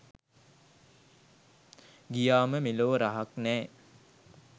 ගියාම මෙලෝ රහක් නැ